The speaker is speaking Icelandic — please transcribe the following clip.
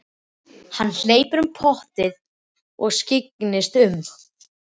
Hann hleypur um portið og skyggnist um.